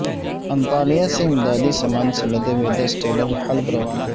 Antalya سے امدادی سامان سے لدے ہوئے دس ٹریلر حلب روانہ